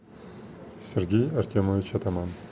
сергей артемович атаман